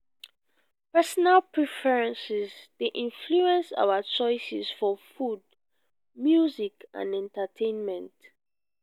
personal preferences dey influence our choices for food music and entertainment.